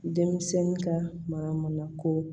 Denmisɛn ka mana mana ko